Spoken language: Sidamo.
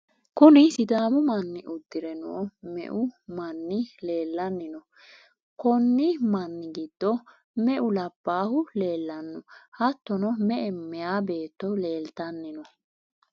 kuni sidaamu manni uddire noo meu manni leelanni no? konni manni giddo meu labbahu leelanno? hattono me''e meyaa beetto leeltanni no?